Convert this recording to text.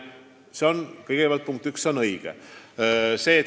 See on punkt üks.